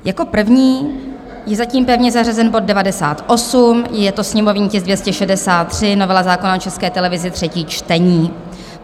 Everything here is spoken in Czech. Jako první je zatím pevně zařazen bod 98, je to sněmovní tisk 263, novela zákona o České televizi, třetí čtení.